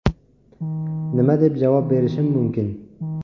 Nima deb javob berishim mumkin?